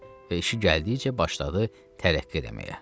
Və işi gəldikcə başladı tərəqqi eləməyə.